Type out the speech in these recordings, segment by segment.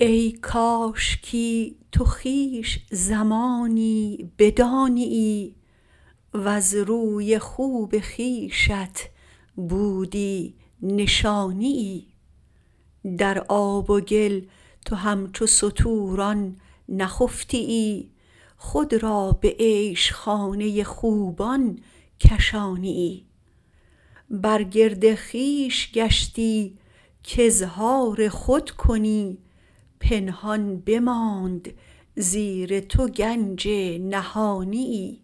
ای کاشکی تو خویش زمانی بدانیی وز روی خوب خویشت بودی نشانیی در آب و گل تو همچو ستوران نخفتیی خود را به عیش خانه خوبان کشانیی بر گرد خویش گشتی کاظهار خود کنی پنهان بماند زیر تو گنج نهانیی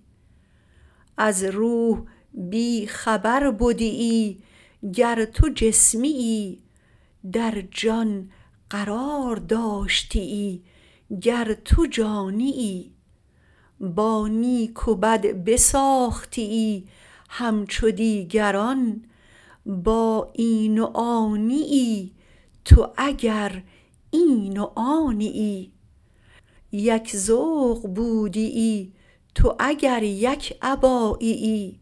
از روح بی خبر بدیی گر تو جسمیی در جان قرار داشتیی گر تو جانیی با نیک و بد بساختیی همچو دیگران با این و آنیی تو اگر این و آنیی یک ذوق بودیی تو اگر یک اباییی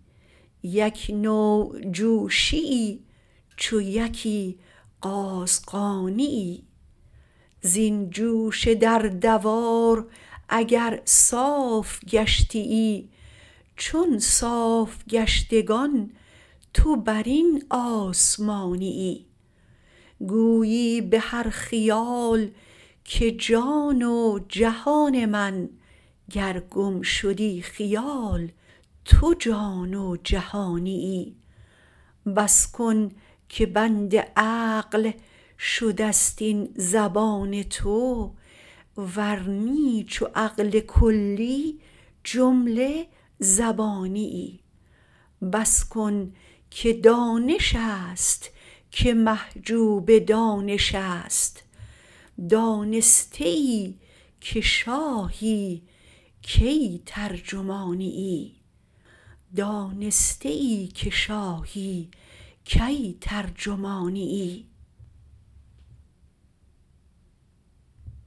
یک نوع جوشییی چو یکی قازغانیی زین جوش در دوار اگر صاف گشتیی چون صاف گشتگان تو بر این آسمانیی گویی به هر خیال که جان و جهان من گر گم شدی خیال تو جان و جهانیی بس کن که بند عقل شدست این زبان تو ور نی چو عقل کلی جمله زبانیی بس کن که دانش ست که محجوب دانشست دانستیی که شاهی کی ترجمانیی